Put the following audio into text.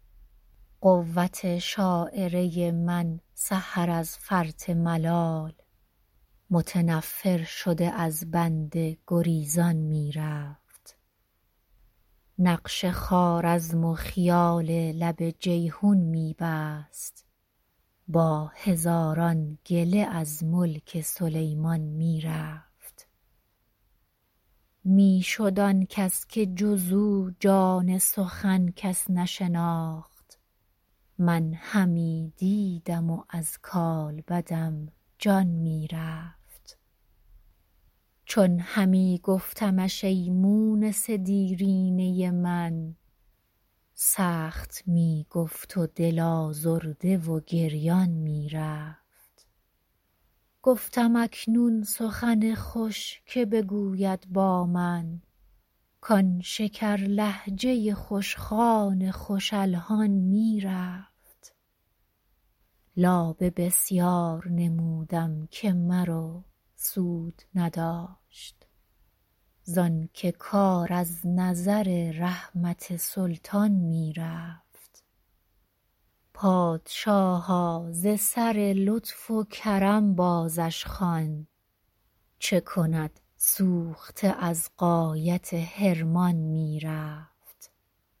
قوت شاعره من سحر از فرط ملال متنفر شده از بنده گریزان می رفت نقش خوارزم و خیال لب جیحون می بست با هزاران گله از ملک سلیمان می رفت می شد آن کس که جز او جان سخن کس نشناخت من همی دیدم و از کالبدم جان می رفت چون همی گفتمش ای مونس دیرینه من سخت می گفت و دل آزرده و گریان می رفت گفتم اکنون سخن خوش که بگوید با من کـ آن شکرلهجه ی خوش خوان خوش الحان می رفت لابه بسیار نمودم که مرو سود نداشت زانکه کار از نظر رحمت سلطان می رفت پادشاها ز سر لطف و کرم بازش خوان چه کند سوخته از غایت حرمان می رفت